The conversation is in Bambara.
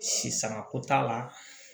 Si sangako t'a la